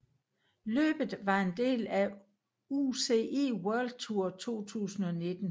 Løbet var en del af UCI World Tour 2019